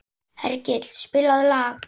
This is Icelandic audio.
Hergill, spilaðu lag.